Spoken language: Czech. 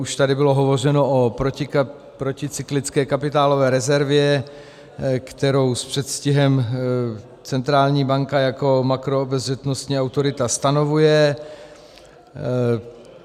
Už tady bylo hovořeno o proticyklické kapitálové rezervě, kterou s předstihem centrální banka jako makroobezřetnostní autorita stanovuje.